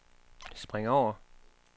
spring over